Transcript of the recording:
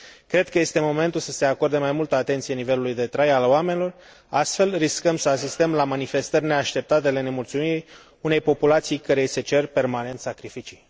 Cred că este momentul să se acorde mai multă atenție nivelului de trai al oamenilor, altfel riscăm să asistăm la manifestări neașteptate de nemulțumire a unei populații căreia i se cer permanent sacrificii.